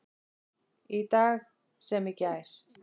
Í dag sem í gær.